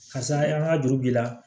Karisa an ka juru b'i la